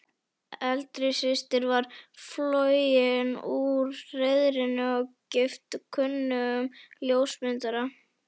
Eldri systir var flogin úr hreiðrinu og gift kunnum ljósmyndara.